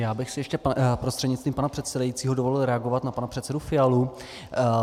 Já bych si ještě prostřednictvím pana předsedajícího dovolil reagovat na pana předsedu Fialu.